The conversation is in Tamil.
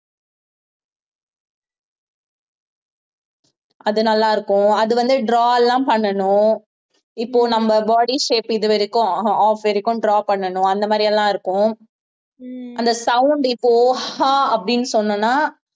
அது நல்லா இருக்கும் அது வந்து draw எல்லாம் பண்ணணும் இப்போ நம்ம body shape இது வரைக்கும் அஹ் half வரைக்கும் draw பண்ணணும் அந்த மாதிரி எல்லாம் இருக்கும் அந்த sound இப்போ ஹா அப்படின்னு சொன்னன்னா